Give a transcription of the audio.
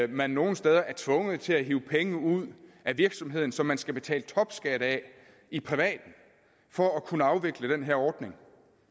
man nogle steder er tvunget til at hive penge ud af virksomheden som man skal betale topskat af for at kunne afvikle den her ordning